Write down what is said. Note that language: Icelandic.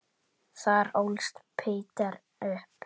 Þar ólst Peder upp.